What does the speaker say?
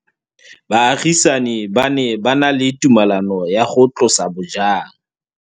Baagisani ba ne ba na le tumalanô ya go tlosa bojang.